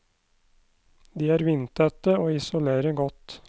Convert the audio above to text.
De er vindtette og isolerer godt.